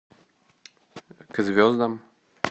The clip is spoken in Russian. к звездам